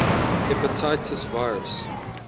hepatitis virus